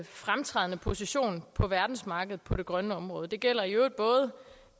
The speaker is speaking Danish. fremtrædende position på verdensmarkedet på det grønne område og det gælder i øvrigt både